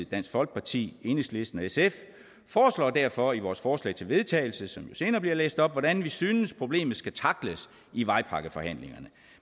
dansk folkeparti enhedslisten og sf foreslår derfor i vores forslag til vedtagelse som jo senere bliver læst op hvordan vi synes problemet skal tackles i vejpakkeforhandlingerne